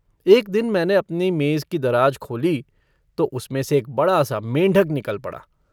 एक दिन मैने अपनी मेज़ की दराज खोली तो उसमें से एक बड़ा सा मेंढक निकल पड़ा।